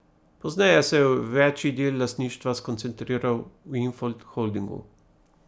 Pozneje se je večji del lastništva skoncentriral v Infond Holdingu.